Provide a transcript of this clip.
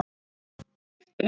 Skipti engu.